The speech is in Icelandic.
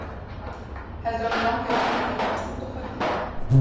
Heldurðu að mig langi aldrei til að komast út á kvöldin?